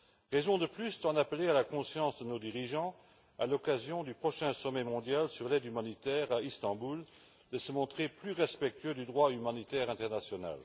Raison de plus d'en appeler à la conscience de nos dirigeants, à l'occasion du prochain sommet mondial sur l'aide humanitaire à Istanbul, et de se montrer plus respectueux du droit humanitaire international.